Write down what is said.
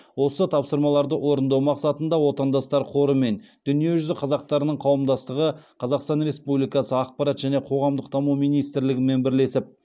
осы тапсырмаларды орындау мақсатында отандастар қоры мен дүниежүзі қазақтарының қауымдастығы қазақстан республикасы ақпарат және қоғамдық даму министрлігімен бірлесіп